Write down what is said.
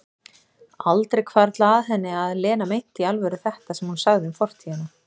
Aldrei hvarflað að henni að Lena meinti í alvöru þetta sem hún sagði um fortíðina.